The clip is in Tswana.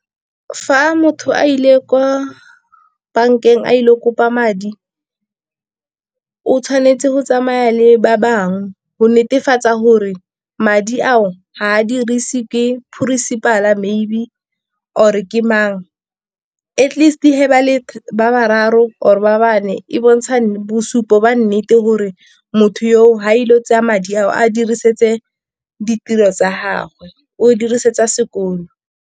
Fa motho a ile kwa bankeng a ile go kopa madi, o tshwanetse go tsamaya le ba bangwe. Go netefatsa gore madi ao ga a dirise ke principal maybe, or-e ke mang. Atleast ga ba le bararo, or ba bane e bontsha bosupo ba nnete, gore motho yo ga ile go tseya madi a o a diriseditse ditiro tsa gagwe, o dirisetsa sekolo.